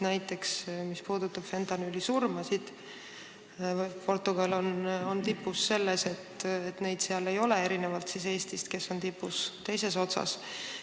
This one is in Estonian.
Mis puudutab fentanüülisurmasid, siis Portugal on tipus selle poolest, et neid seal ei ole, erinevalt Eestist, kes on esimene tabeli teises otsas.